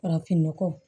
Farafinnɔgɔ